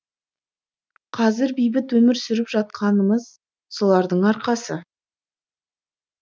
қазір бейбіт өмір сүріп жатқанымыз солардың арқасы